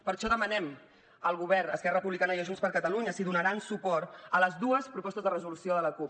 per això demanem al govern a esquerra republicana i a junts per catalunya si donaran suport a les dues propostes de resolució de la cup